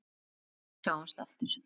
Þar til við sjáumst aftur.